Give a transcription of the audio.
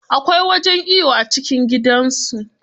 Akwai wajen iyo a cikin gidansu.